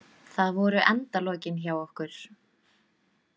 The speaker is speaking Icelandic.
Það voru endalokin hjá okkur.